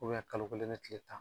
kalo kelen ni tile tan.